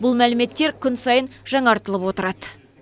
бұл мәліметтер күн сайын жаңартылып отырады